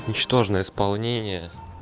ничтожное исполнении